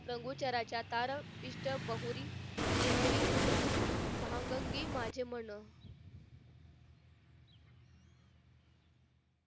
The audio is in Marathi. लंगुटराच्या चार पिष्ट बहुरी नेहमी भांगांगी माझे मन